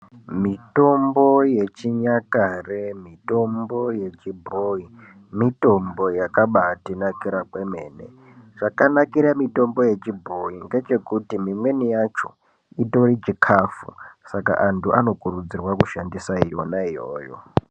Mitombo yechinyakare, mitombo yechibhoyi, mitombo yakabatinakira kwemene. Chakanakire mitombo yechibhoyi ngechekuti mimweni yacho chitori chikafu. Saka antu anokurudzirwa kushandisa yona iyoyo.